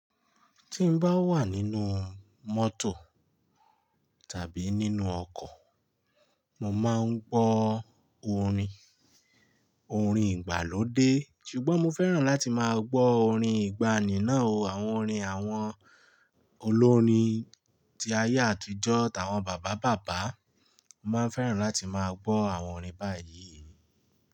Tí n bá wà nínú mọ́tò tàbí nínú ọkọ̀, mo máa ń gbọ́ orin, orin ìgbàlódé ṣùgbọ́n mo fẹ́ràn láti máa gbọ́ orin ìgbàanì náà o. Àwọn orin àwọn olórin tí ayé àtijọ́, tàwọn bàbá bàbá. Mo máa fẹ́ràn láti máa gbọ́ àwọn orin báyìí.